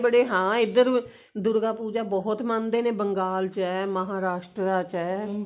ਬੜੇ ਹਾਂ ਇੱਧਰ ਦੁਰਗਾ ਪੂਜਾ ਬਹੁਤ ਮੰਨਦੇ ਨੇ ਬੰਗਾਲ ਚ ਏ ਮਹਾਰਾਸਟਰਾ ਚ ਏ